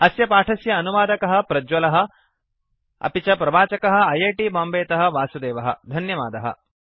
अस्य पाठस्य अनुवादकः प्रज्वलः अपि च प्रवाचकः ऐ ऐ टी बाम्बे तः वासुदेवः धन्यवादः